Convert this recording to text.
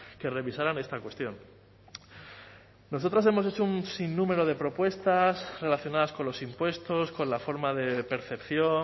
que revisaran esta cuestión nosotros hemos hecho un sin número de propuestas relacionadas con los impuestos con la forma de percepción